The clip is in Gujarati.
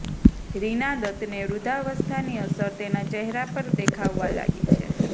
રિના દત્તને વૃદ્ધાવસ્થાની અસર તેના ચહેરા પર દેખાવવા લાગી છે